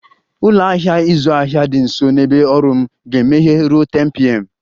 Ụlọ ahịa ịzụ ahịa dị nso na ebe ọrụ m ga-emeghe ruo 10pm